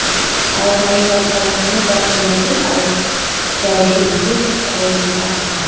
aro gari white colour khan hi park kurina ase aro jaishe kuile tu ghor bi ekta ase.